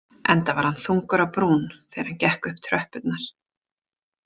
Enda var hann þungur á brún þegar hann gekk upp tröppurnar.